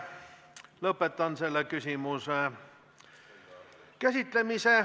Lõpetan selle küsimuse käsitlemise.